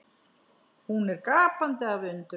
Hún er gapandi af undrun.